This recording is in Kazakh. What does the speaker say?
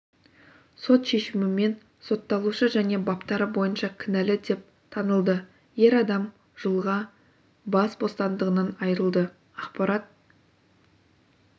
сот шешімімен сотталушы және баптары бойынша кінәлі деп танылды ер адам жылға бас бостандығынан айырылды ақпарат